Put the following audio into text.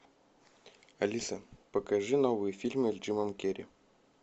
алиса покажи новые фильмы с джимом керри